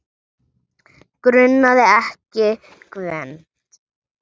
Grunaði ekki Gvend.